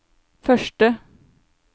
første